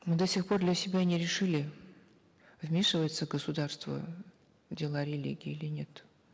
мы до сих пор для себя не решили вмешивается государство в дела религии или нет